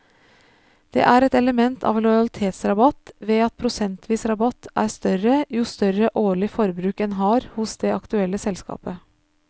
Det er et element av lojalitetsrabatt ved at prosentvis rabatt er større jo større årlig forbruk en har hos det aktuelle selskapet.